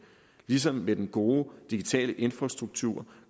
ligesom med den gode digitale infrastruktur